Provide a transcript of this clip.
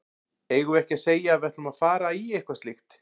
Eigum við ekki að segja að við ætlum að fara í eitthvað slíkt?